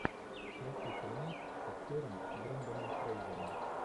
включи фильмец с актером бренданом фрейзером